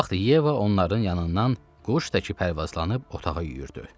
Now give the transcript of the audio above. Bu vaxt Yeva onların yanından quş təki pərvazlanıb otağa yüyürdü.